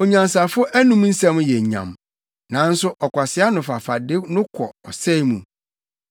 Onyansafo anom nsɛm yɛ nyam, nanso ɔkwasea ano fafa de no kɔ ɔsɛe mu.